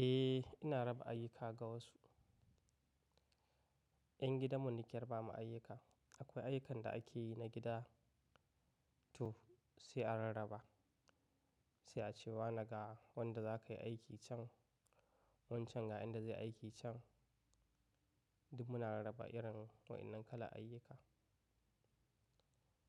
Eh, ina raba ayyuka ga wasu. 'Yan gidanmu nike rabama ayyuka. Akwai ayyukan da ake yi na gida to sai a rarraba. Sai a ce wa ne ga wanda za ka yi aiki can, wancan ga wanda zai yi aiki can. Duk muna rarraba irin waɗannan kalar ayyuka.